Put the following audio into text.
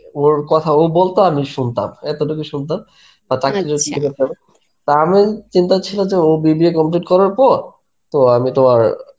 ওর কথা ও বলতো আমি শুনতাম, এতটুকুই শুনতাম. টা আমি চিন্তা ছিলো যে ও BBA complete করার পর তো আমি তোমার